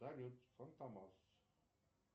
салют фантомас